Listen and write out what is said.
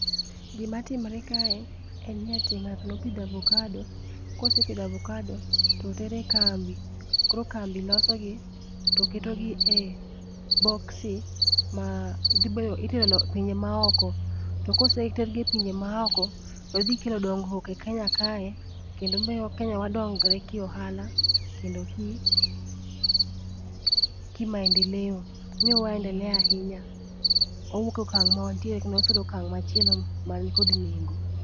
Gima timre kae, en ni aty ng'ato nopidho avokado, kosepidho avokado to tere kambi, koro kambi loso gi to keto gi e boksi ma itero e pinje maoko. To kosetergi e pinje maoko, to dhikelo dong'ruok e Kenya kae, kendo mio kenya wa dongre kiohala kendo ki maendeleo, mii waendelea ahinya. Wawuok e okang' mawantie kendo wasudo e okang' machielo man kod nengo.